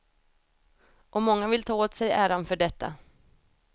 Och många vill ta åt sig äran för detta.